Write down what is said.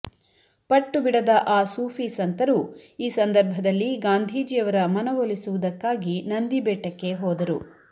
ಪಟ್ಟುಬಿಡದ ಆ ಸೂಫಿ ಸಂತರು ಈ ಸಂದರ್ಭದಲ್ಲಿ ಗಾಂಧೀಜಿಯವರ ಮನವೊಲಿಸುವುದಕ್ಕಾಗಿ ನಂದಿಬೆಟ್ಟಕ್ಕೆ ಹೋದರು